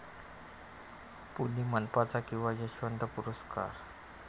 पुणे मनपाचा किंवा यशवंत पुरस्कार